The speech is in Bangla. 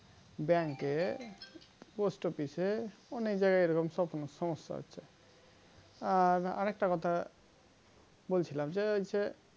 Bank এ post office অনেক জায়গাই এরকম সমস্যা হচ্ছে আর আরেকটা কথা বলছিলাম যে